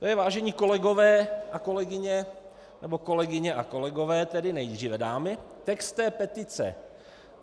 To je, vážení kolegové a kolegyně, nebo kolegyně a kolegové, tedy nejdříve dámy, text té petice.